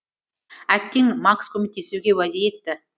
әттең макс көмектесуге уәде етті